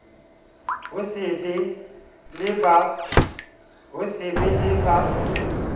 ho so be le ba